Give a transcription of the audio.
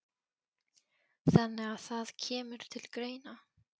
Þannig að það kemur til greina?